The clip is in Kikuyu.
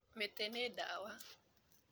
Mĩtĩ nĩ ndawa.